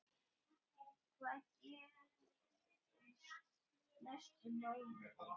Hvað gerist næstu mánuði?